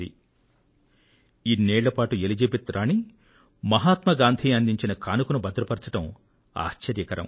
మహాత్మ గాంధీ అందించిన కానుకను ఎలిజిబెత్ రాణి ఇన్నేళ్లపాటు భద్రపరచడం ఆశ్చర్యకరం